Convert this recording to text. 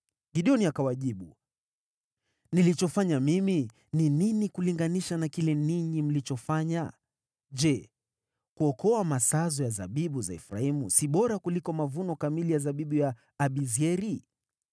Gideoni akawajibu, “Nilichofanya mimi ni nini kulinganisha na kile ninyi mlichofanya? Je, kuokoa masazo ya zabibu za Efraimu si bora kuliko mavuno kamili ya zabibu ya Abiezeri?